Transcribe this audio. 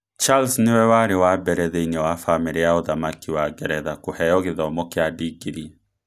Charles nĩwe warĩ wa mbere thĩinĩ wa Famĩrĩ ya ũthamaki wa Ngeretha kũheo gĩthomo kĩa digrii.